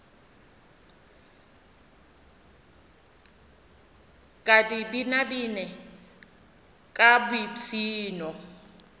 ka di binabine ka boipshino